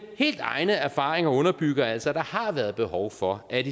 helt egne erfaringer underbygger altså at der har været behov for at